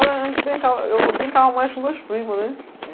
Olha, a gente brincava, eu brincava mais com meus primos, né?